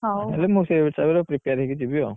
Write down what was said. ତାହେଲେ ମୁଁ ସେଇ ହିସାବରେ prepare ହେଇକି ଯିବି ଆଉ।